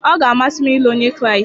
Ọ ga-amasị m ịlụ Onye Kraịst.